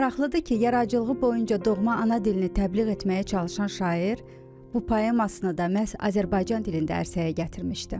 Maraqlıdır ki, yaradıcılığı boyu doğma ana dilini təbliğ etməyə çalışan şair bu poemasını da məhz Azərbaycan dilində ərsəyə gətirmişdi.